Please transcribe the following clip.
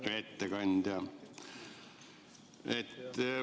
Hea ettekandja!